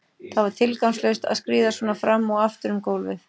Það var tilgangslaust að skríða svona fram og aftur um gólfið.